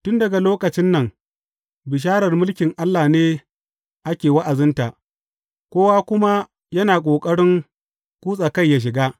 Tun daga lokacin nan, bisharar mulkin Allah ne ake wa’azinta, kowa kuma yana ƙoƙarin kutsa kai ya shiga.